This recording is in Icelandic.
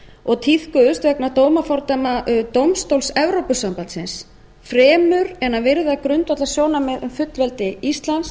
og tíðkuðust vegna dómafordæma dómstóls evrópusambandsins fremur en að virða grundvallarsjónarmið um fullveldi íslands